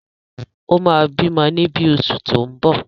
O máa bímọ ní bí oṣù tí ó ń bọ̀.